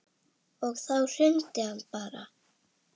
Og þá hrundi hann bara.